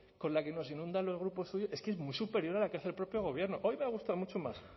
con la que nos inundan los grupos suyos es que es muy superior a la que hace el propio gobierno hoy me ha gustado mucho más